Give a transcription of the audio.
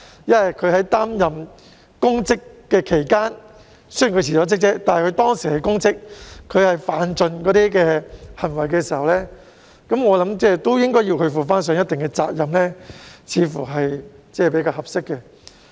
雖然某些公職人員已經辭職，但在擔任公職期間犯盡所有錯誤行為，我認為他們亦應負上一定責任，這樣似乎較為合適。